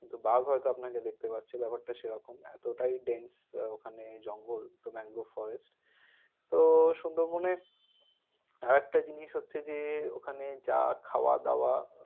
কিন্তু বাঘ হয়তো আপনাকে দেখতে পাচ্ছে। ব্যাপারটা সে রকম। এতটাই dance ওখানে জঙ্গল। ম্যানগ্রোভে forest । তো সুন্দরবনে আর একটা জিনিস হচ্ছে যে ওখানে যা খাওয়া-দাওয়া,